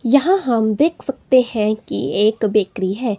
यहां हम देख सकते है कि एक बेकरी है।